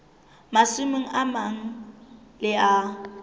masimong a mang le a